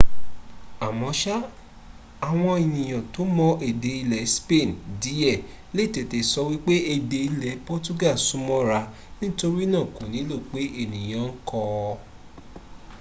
àmọ́ṣá àwọn ènìyàn tó ma èdè ilẹ̀ spain díẹ̀ lè tètè sọ wípé èdè ilẹ̀ portugal súnmọ́ ra nítorínà kò nílò pé ènìyàn ń kọ́ ọ